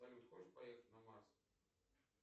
салют хочешь поехать на марс